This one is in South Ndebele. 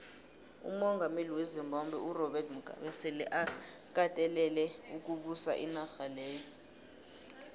umongameli wezimbabwe urobert mugabe sele akatelele ukubusa inarha leya